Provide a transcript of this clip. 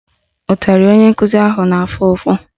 Ụtarị onye nkụzi ha na-afụ ụfụ